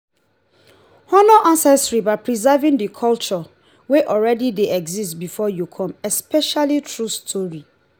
honor ancestry by preserving the culture wey already de exist before you come especially through story